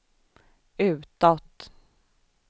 utåt